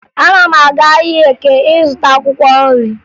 Ana m aga ahịa Eke ịzụta akwụkwọ nri